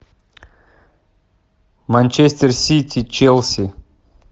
манчестер сити челси